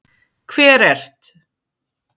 Hver ert?